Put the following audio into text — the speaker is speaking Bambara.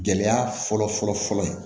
Gɛlɛya fɔlɔ fɔlɔ fɔlɔ ye